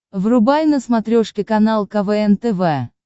врубай на смотрешке канал квн тв